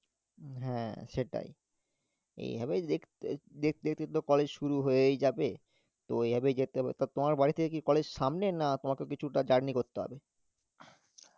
উম হ্যাঁ সেটাই, এইভাবেই দেখ~তে~ দেখতে দেখতে কলেজ শুরু হয়েই যাবে তো এভাবে যেতে হবে, তা তোমার বাড়ি থেকে কি college সামনে না তোমাকেও কিছুটা journey করতে হবে?